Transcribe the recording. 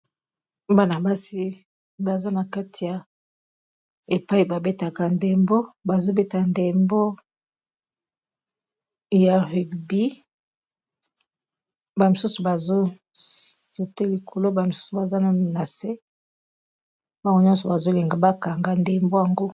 bana-basi baza na kati ya epai babetaka ndembo bazobeta ndembo ya rugby bamisusu bazosote likolo bamisusu baza na se bango nyonso bazolinga bakanga ndembo yango